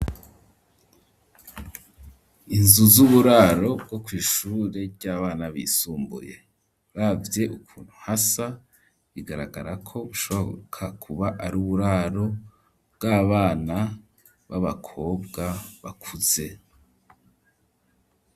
Inzu z'uburaro bwo kw'ishure ry'abana bisumbuye uravye ukuntu hasa bigaragara ko ushoboka kuba ari uburaro bw'abana b'abakobwa bakuze.